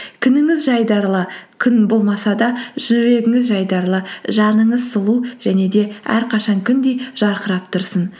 күніңіз жайдарлы күн болмаса да жүрегіңіз жайдарлы жаныңыз сұлу және де әрқашан күндей жарқырап тұрсын